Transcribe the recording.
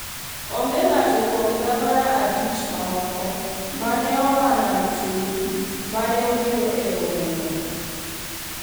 Onge ng�ato kuom gavana abich mamoko ma ne oa Nam Chumbi ma ne obiro e romono.